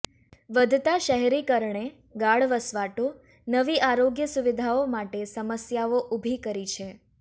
વધતા શહેરીકરણે ગાઢ વસવાટો નવી આરોગ્ય સુવિધાઓ માટે સમસ્યાઓ ઊભી કરી છે